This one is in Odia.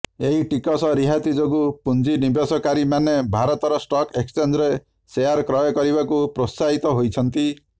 ଏହି ଟିକସ ରିହାତି ଯୋଗୁ ପୁଂଜିନିବେଶକାରୀ ମାନେ ଭାରତର ଷ୍ଟକ ଏକ୍ସଚେଂଜରେ ସେୟାର କ୍ରୟ କରିବାକୁ ପ୍ରୋତ୍ସାହିତ ହୋଇଛନ୍ତି